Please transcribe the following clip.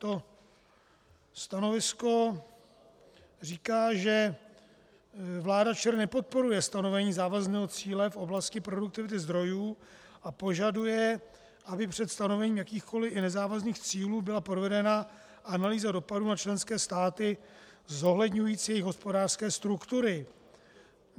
To stanovisko říká, že vláda ČR nepodporuje stanovení závazného cíle v oblasti produktivity zdrojů a požaduje, aby před stanovením jakýchkoliv, i nezávazných cílů byla provedena analýza dopadu na členské státy zohledňující jejich hospodářské struktury.